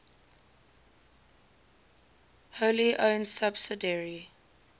wholly owned subsidiary